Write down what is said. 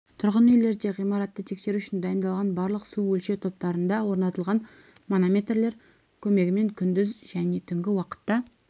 тұрғын үйлерде қысым ғимаратты тексеру үшін дайындалған барлық су өлшеу тораптарында орнатылған манометрлер көмегімен күндіз және түнгі уақытта